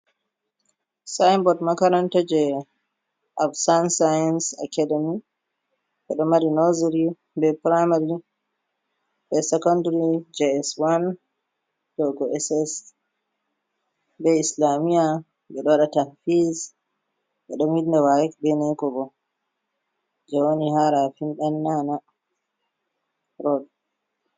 Sayinbot Makaranta, je Ab San-Sayins Akademik, Ɓeɗo Mari Noziri, be Piramare be Sekondari Js wan yago SS,be islamiya ɓeɗon Waɗa Tapɓis ɓeɗo Winda Wa'ek be Neko Jewoni ha Rafin ɗan nana Rod.